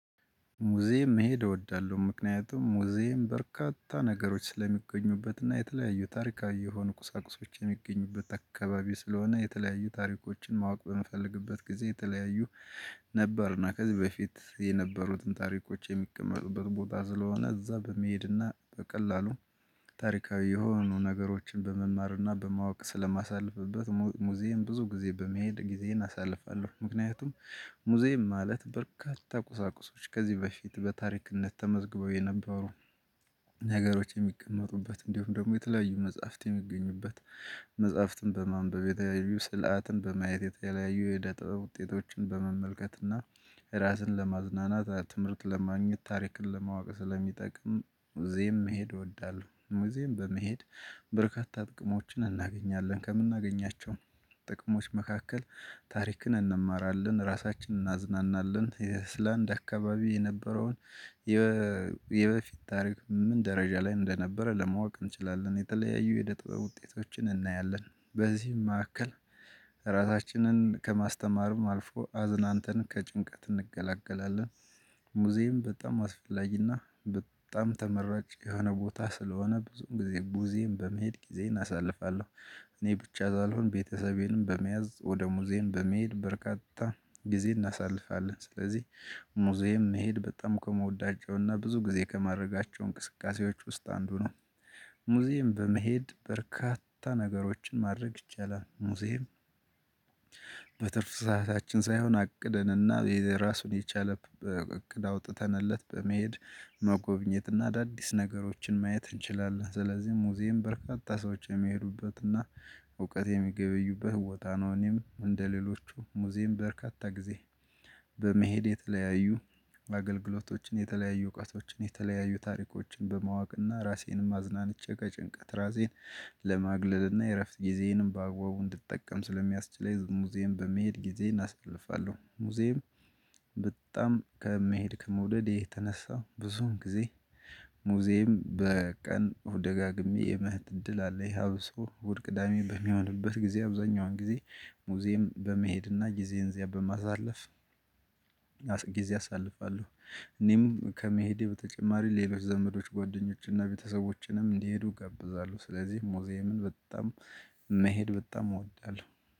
ሙዚየም መሄድ እወዳለሁ ምክንያቱም ሙዚየም በርካታ ነገሮች ስለሚገኙበትና የተለያዩ ታሪካዊ የሆኑ ቁሳቁሶችን የሚገኙበት አካባቢ ስለሆነ የተለያዩ ታሪኮችን ማወቅ በምፈልግበት ጊዜ የተለያዩ ነበርና ከዚህ በፊት የነበሩትን ታሪኮች የሚቀመጡበት ቦታ ስለሆነ እዛ በመሄድና በቀላሉ ታሪካዊ የሆኑ ነገሮችን በመማርና በማወቅ ስለማሳልፍበት ሙዚየም ብዙ ጊዜ በመሄድ ጊዜን አሳልፋለሁ። ምክንያቱም ሙዚየም ማለት በርካታ ቁሳቁሶች ከዚህ በፊት በታሪክነት ተመዝግበው የነበሩ ነገሮች የሚቀመጡበት እንዲሁም ደግሞ የተለያዩ መጽሐፍት የሚገኙበት። መጽሐፍትን በማንበብ የተለያዩ ስርዓትን በማየት የተለያዩ የኢደ ጥበብ ውጤቶችን በመመልከትና ራስን ለማዝናናት ትምህርት ለማግኘት ታሪክን ለማወቅ ስለሚጠቅም እዚህም መሄድ እወዳለሁ። ሙዝየም በመሄድ በርካታ ጥቅሞችን እናገኛለን። ከምናገኛቸው ጥቅሞች መካከል ታሪክን እንማራለን ራሳችንን እናዝናናለን የኣይስላንድ አካባቢ የነበረውን የበፊት ታሪክ ምን ደረጃ ላይ እንደነበረ ለማወቅ እንችላለን የተለያዩ የኢደ ጥቦች ውጤቶችን እናያለን። በዚህም መካከል ራሳችንን ከማስተማርም አልፎ አዝናንተን ከጭንቀት እንገላገላለን። ሙዚየም በጣም አስፈላጊና በጣም ተመራጭ የሆነ ቦታ ስለሆነ ብዙም ጊዜ ሙዚየን በመሄድ ጊዜን አሳልፋለሁ። እኔ ብቻ ሳልሆን ቤተሰቤንም በመያዝ ወደ ሙዚየም በመሄድ በርካታ ጊዜ እናሳልፋለን። ስለዚህ ሙዚየም መሄድ በጣም ከመወዳጃውና ብዙ ጊዜ ከማድረጋቸው እንቅስቃሴዎች ውስጥ አንዱ ነው። ሙዚየም በመሄድ በርካታ ነገሮችን ማድረግ ይቻላል። ሙዚየም በትርፍ ሰዓታችን ሳይሆን አቅደንና የራሱን የቻለ እቅድ አውጥተንለት በመሄድ መጎብኘትና አዳዲስ ነገሮችን ማየት እንችላለን። ስለዚህ ሙዚየም በርካታ ሰዎች የሚሄዱበትና እውቀት የሚገበዩበት ቦታ ነው። እኔም እንደሌሎቹ ሙዚየም በርካታ ጊዜ በመሄድ የተለያዩ አገልግሎቶችን የተለያዩ እውቀቶችን የተለያዩ ታሪኮችን በማወቅና ራሴንም አዝናንቼ ከጭንቀት ራሴን ለማግለልና የእረፍት ጊዜዬንም በአገባቡ እንድትጠቀም ስለሚያስችል ሙዚየም በመሄድ ጊዜን አሳልፋለሁ። ሙዚየም በጣም ከመሄድ ከመውደድ የተነሳው ብዙም ጊዜ ሙዚየም በቀን ደጋግሜ የመሄድ እድል አለ ይሀብሱ ውድ ቅዳሜ በሚሆንበት ጊዜ አብዛኛውን ጊዜ ሙዚየም በመሄድና ጊዜ እንዚያ በማዛለፍ ጊዜ አሳልፋለሁ። እኔም ከመሄዴ በተጨማሪ ሌሎች ዘመዶች ጓደኞችንና ቤተሰቦችንም እንዲሄዱ እጋብዛለሁ። ስለዚህ ሙዚየምን በጣም መሄድ በጣም እወዳለሁ።